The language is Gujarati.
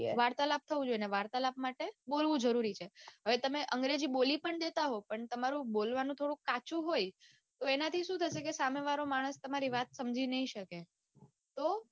વાર્તાલાપ થવો જોઈએ વાર્તાલાપ માટે બોલવું જરૂરી છે હવે તમે અંગ્રેજી બોલી પણ દેતા હોય પણ તમારું બોલવાનું થોડું કાચું પણ હોય તો એનાથી સુ થશે સામે વાળો માણસ તમારી વાત સમજી નઈ શકે તો